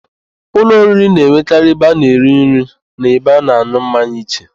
Ụlọ oriri na-enwekarị ebe a na -eri nri na ebe a na-an̄ụ mmanya iche.